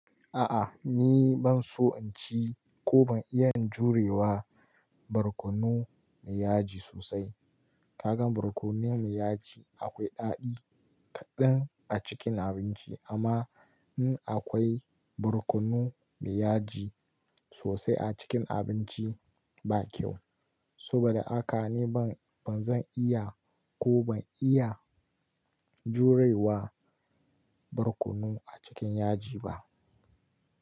A'a, ni ban so in ci ko ban iya jurewa barkono mai yaji sosai. Kagan barkono mai yaji akwai daɗi kaɗan a cikin abinci amma in akwai barkono mai yaji sosai a cikin abinci ba kyau. Saboda haka ni ban, ba zan iya ko ban iya jurewa barkono a cikin yaji ba.